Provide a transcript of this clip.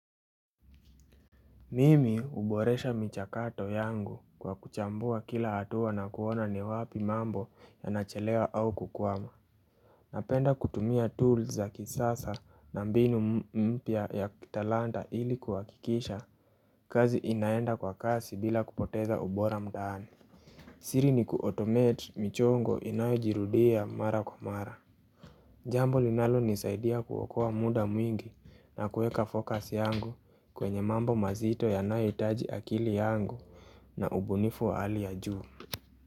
Mimi huboresha michakato yangu kwa kuchambua kila hatua na kuona ni wapi mambo yanachelewa au kukwama. Napenda kutumia tools za kisasa na mbinu mpya ya kitalanta ili kuhakikisha kazi inaenda kwa kasi bila kupoteza ubora mtaani. Siri ni ku automate michongo inayojirudia mara kwa mara. Jambo linalonisaidia kuokoa muda mwingi na kueka focus yangu kwenye mambo mazito yanayohitaji akili yangu na ubunifu wa hali ya juu.